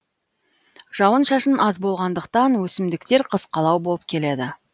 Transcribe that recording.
жауын шашын аз болғандықтан өсімдіктер қысқалау болып келеді